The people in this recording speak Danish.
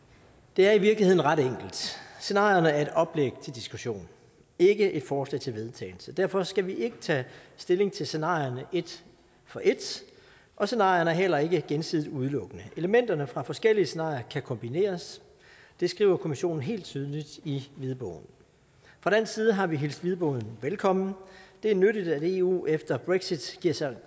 det er i virkeligheden ret enkelt scenarierne er et oplæg til diskussion ikke et forslag til vedtagelse og derfor skal vi ikke tage stilling til scenarierne et for et og scenarierne er heller ikke gensidigt udelukkende elementerne fra forskellige scenarier kan kombineres det skriver kommissionen helt tydeligt i hvidbogen fra dansk side har vi hilst hvidbogen velkommen det er nyttigt at eu efter brexit giver sig